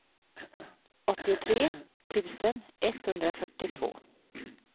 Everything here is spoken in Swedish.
åttiotre tusen etthundrafyrtiotvå